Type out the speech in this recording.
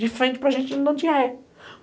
De frente para gente, ele não tinha ré.